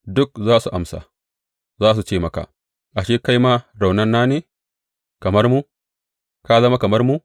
Duk za su amsa, za su ce maka, Ashe kai ma raunana ne, kamar mu; ka zama kamar mu.